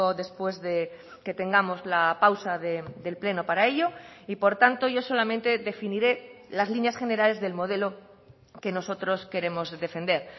después que tengamos la pausa del pleno para ello y por tanto yo solamente definiré las líneas generales del modelo que nosotros queremos defender